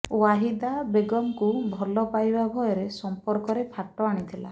ୱାହିଦା ବେଗମଙ୍କୁ ଭଲ ପାଇବା ଉଭୟ ସଂପର୍କରେ ଫାଟ ଆଣିଥିଲା